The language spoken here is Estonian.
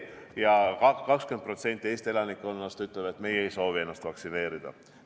Ja 20% Eesti elanikkonnast ütleb, et meie ei soovi ennast vaktsineerida lasta.